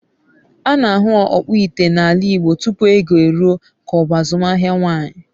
A na-ahụ ọkpụ ite n’ala Igbo tupu oge eruo ka ọ bụ azụmaahịa nwanyị.